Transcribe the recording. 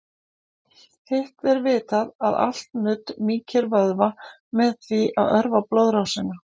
Hitt er vitað að allt nudd mýkir vöðva með því að örva blóðrásina.